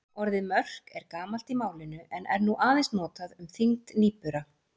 Orðið mörk er gamalt í málinu en er nú aðeins notað um þyngd nýbura.